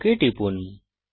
okay টিপুন